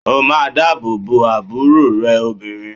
O máa dábòbo àbúrò rẹ obìnrin.!